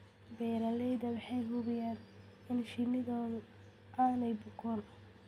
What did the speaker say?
Beeralayda waxay hubiyaan in shinnidoodu aanay bukoon.